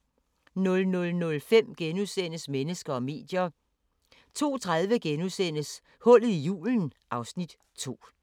00:05: Mennesker og medier * 02:30: Hullet i julen (Afs. 2)*